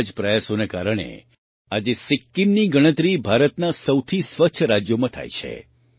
આવા જ પ્રયાસોના કારણે આજે સિક્કિમની ગણતરી ભારતના સૌથી સ્વચ્છ રાજ્યોમાં થાય છે